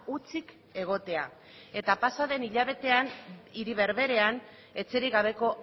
hutsik egotea eta pasa den hilabetean hiri berberean etxerik gabeko